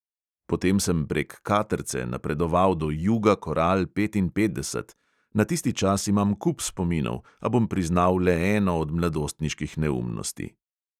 Potem sem prek "katrce" napredoval do juga koral petinpetdeset. na tisti čas imam kup spominov, a bom priznal le eno od mladostniških neumnosti.